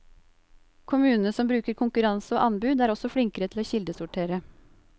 Kommunene som bruker konkurranse og anbud er også flinkere til å kildesortere.